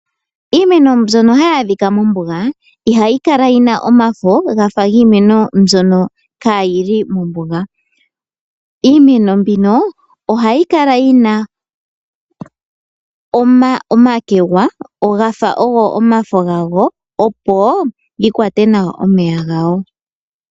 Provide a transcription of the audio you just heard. Iimeno mbyono hayi adhika mombuga , ihayi Kala yina omafo gafa giimeno mbyono ka yili mombuga. Iimeno mbino ohayi Kala yina omakegwa gafa ogo omafo gago opo yikwate nawa omeya gawo.